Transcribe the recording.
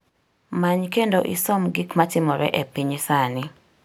Many kendo isom gik matimore e piny sani.